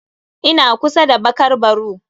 Ina kusa da bakar baru.